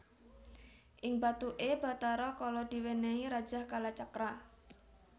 Ing bathuké Bathara Kala diwènèhi Rajah Kalacakra